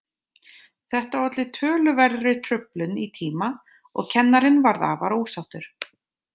Þetta olli töluverðri truflun í tíma og kennarinn varð afar ósáttur.